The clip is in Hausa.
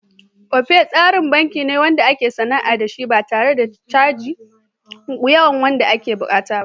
Opay tsarin banki ne wanda ake sana'a da shi ba tare da caji da yawa wanda ake buƙata ba.